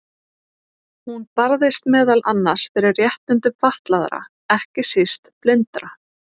Hún barðist meðal annars fyrir réttindum fatlaðra, ekki síst blindra.